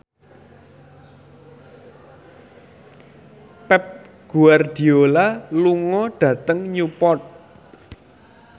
Pep Guardiola lunga dhateng Newport